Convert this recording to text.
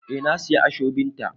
Eh na siya ashobin ta.